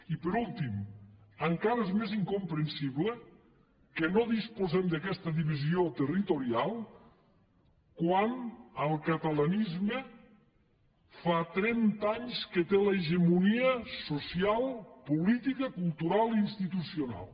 i per últim encara és més incomprensible que no disposem d’aquesta divisió territorial quan el catalanisme fa trenta anys que té l’hegemonia social política cultural i institucional